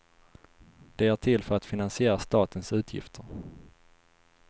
De är till för att finansiera statens utgifter.